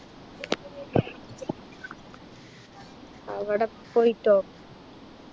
അവിടെ പോയിട്ടോ